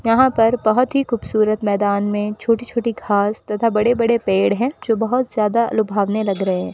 यहां पर बहुत ही खूबसूरत मैदान में छोटी छोटी घास तथा बड़े बड़े पेड़ हैं जो बहुत ज्यादा लुभावने लग रहे हैं।